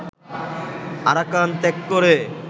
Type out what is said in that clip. Arakan ত্যাগ করে